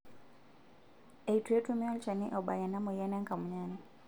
eitu etumi olnchani obak ena moyian enkamunyani